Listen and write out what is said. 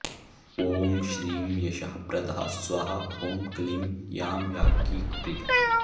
ॐ श्रीं यशःप्रदा स्वाहा ॐ क्लीं यां याज्ञिकप्रिया